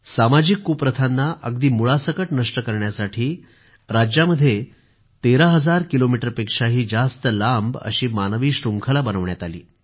सामाजिक कुप्रथांना अगदी मुळासकट नष्ट करण्यासाठी राज्यामध्ये 13 हजार किलोमिटरपेक्षा जास्त लांब मानवी शृंखला बनवण्यात आली